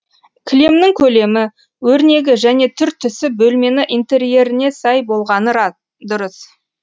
кілемнің көлемі өрнегі және түр түсі бөлмені интерьеріне сай болғаны дұрыс